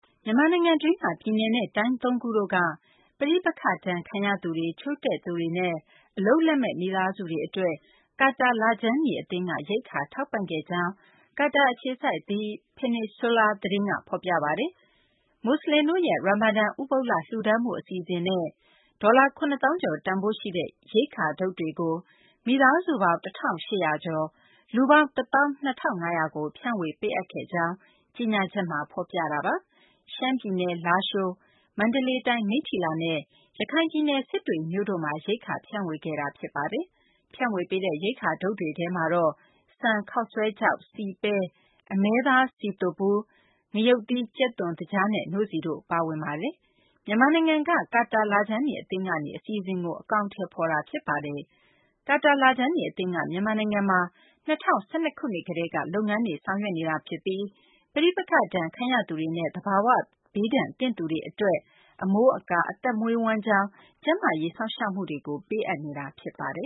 မြန်မာနိုင်ငံတွင်းက ပြည်နယ်နဲ့ တိုင်း ၃ ခုတို့က ပဋိပက္ခဒဏ်ခံရသူတွေ၊ ချို့တဲ့သူတွေနဲ့ အလုပ်အကိုင် မရှိတဲ့ မိသားစုတွေ အတွက် ကာတာလခြမ်းနီ အသင်းက ရိက္ခာ ထောက်ပံ့ခဲ့ကြောင်း ကာတာအခြေစိုက် The Peninsula သတင်းက ဖော်ပြပါတယ်။ မူဆလင်တို့ရဲ့ ရာမာဒန် ဥပုသ်လ လှုဒါန်းမှု အစီအစဉ်နဲ့ ဒေါ်လာ ၇ သောင်းကျော် တန်ဖိုးရှိတဲ့ ရိက္ခာထုပ်တွေကို မိသားစုပေါင်း ၁၈၀၀ ကျော် လူပေါင်း ၁ သောင်း ၂ ထောင့် ၅ ရာကို ဖြန့်ဝေပေးအပ်ခဲ့ကြောင်း ကြေညာချက်မှာ ဖော်ပြပါတယ်။ ရှမ်းပြည်နယ် လားရှိုး၊ မန္တလေးတိုင်း မိတ္ထီလာနဲ့ ရခိုင်ပြည်နယ် စစ်တွေမြို့တို့မှာ ရိက္ခာ ဖြန့်ဝေခဲ့တာ ဖြစ်ပါတယ်။ ဖြန့်ဝေပေးတဲ့ ရိက္ခာထုပ်တွေထဲမှာတော့ ဆန်၊ ခေါက်ဆွဲခြောက်၊ ဆီ၊ ပဲ၊ အမဲသားစည်သွပ်ဗူး၊ ငရုတ်သီး၊ ကြက်သွန်နီ၊ ကြက်သွန်ဖြူ၊ သကြားနဲ့ နို့ဆီတို့ ပါဝင်ပါတယ်။ မြန်မာနိုင်ငံက ကာတာ လခြမ်းနီ အသင်းကနေ ဒီအစီအစဉ်ကို အကောင်အထည်ဖော်ခဲ့တာ ဖြစ်ပါတယ်။ ကာတာ လခြမ်းနီ အသင်းက မြန်မာနိုင်ငံမှာ ၂၀၁၂ ခုနှစ်ကတည်းက လုပ်ငန်းတွေ ဆောင်ရွက်နေတာ ဖြစ်ပြီး ပဋိပက္ခဒဏ်ခံရသူတွေနဲ့ သဘာဝဘေးဒဏ်ခံရသူတွေ အတွက် အမိုးအကာ၊ အသက်မွေးဝမ်းကျောင်း၊ ကျန်းမာရေး စောင့်ရှောက်မှုတွေ ပေးအပ်နေတာ ဖြစ်ပါတယ်